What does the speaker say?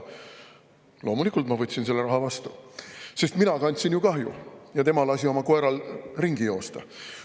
Loomulikult ma võtsin selle raha vastu, sest mina kandsin ju kahju ja tema lasi oma koeral ringi joosta.